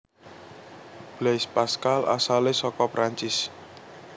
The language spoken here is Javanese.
Blaise Pascal asalé saka Prancis